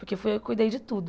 Porque fui eu cuidei de tudo.